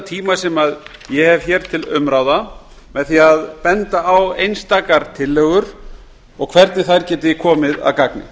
tíma sem ég hef hér til umráða með því að benda á einstakar tillögur og hvernig þær geti komið að gagni